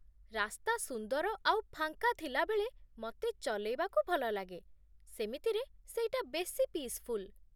ରାସ୍ତା ସୁନ୍ଦର ଆଉ ଫାଙ୍କା ଥିଲାବେଳେ ମତେ ଚଲେଇବାକୁ ଭଲଲାଗେ, ସେମିତିରେ, ସେଇଟା ବେଶି ପିସ୍‌ଫୁଲ୍।